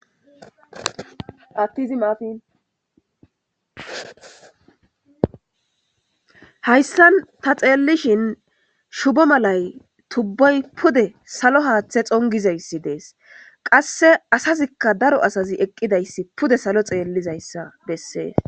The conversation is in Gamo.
attizi mafinhayssan ta xeellishin shubo malay tubboy pude salo haaththe xongizayssi dees qasse asazikka daro asazi eqqidayssi pude salo xeellizayssa bessees